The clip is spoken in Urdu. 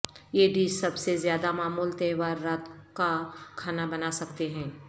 یہ ڈش سب سے زیادہ معمول تہوار رات کا کھانا بنا سکتے ہیں